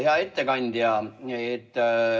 Hea ettekandja!